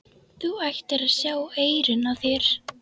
Þú ættir að sjá eyrun á þér!